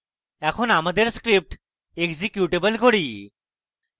এখন আমাদের script executable করি